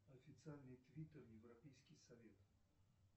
официальный твиттер европейский совет